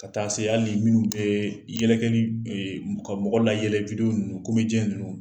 Ka taa se hali minnu tɛ yɛlɛkɛ ka mɔgɔ layɛlɛ ninnu ninnu